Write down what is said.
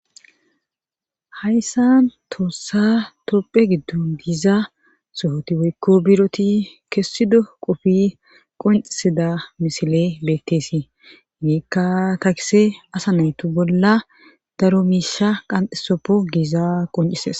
Hayssan toossa topphe giddun diiza sohoti woykko biroti kessido qofi qoncisida misile beetteesi higiikka takise asa naytu bolla daro miisha qanxesoppo giiza qoncises